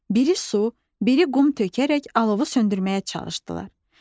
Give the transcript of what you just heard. Biri su, biri qum tökərək alovu söndürməyə çalışdılar.